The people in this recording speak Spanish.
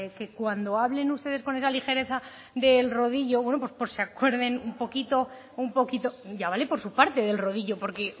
que cuando hablen ustedes con esa ligereza del rodillo bueno pues se acuerden un poquito un poquito ya vale por su parte del rodillo porque